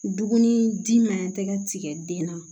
Dumuni di ma tɛgɛ tigɛ den na